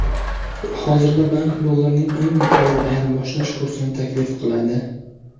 Hozirda bank dollarning eng yuqori ayirboshlash kursini taklif qiladi.